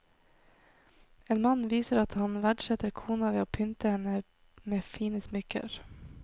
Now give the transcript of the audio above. En mann viser at han verdsetter kona ved å pynte henne med fine smykker.